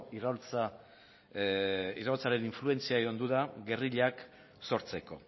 iraultzaren influentzia gerrillak sortzeko